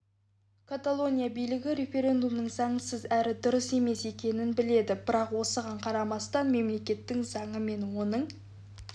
каталония билігі референдумның заңсыз әрі дұрыс емес екенін біледі бірақ осыған қарамастан мемлекеттің заңы мен оның